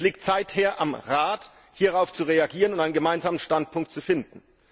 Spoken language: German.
Es liegt seither am Rat, hierauf zu reagieren und einen gemeinsamen Standpunkt zu finden.